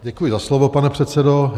Děkuji za slovo, pane předsedo.